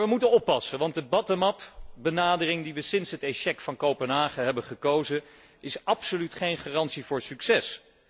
Maar wij moeten oppassen, want de bottom up benadering waarvoor wij sinds het échec van Kopenhagen hebben gekozen, is absoluut geen garantie voor succes.